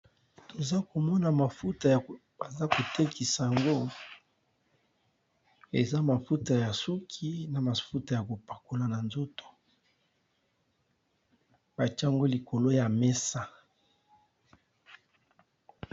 Toza komona mafuta ya baza kotekisa yango eza mafuta ya suki na mafuta ya kopakola na nzoto batiango likolo ya mesa.